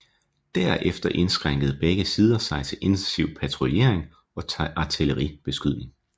Derfor indskrænkede begge sider sig til intensiv patruljering og artilleribeskydning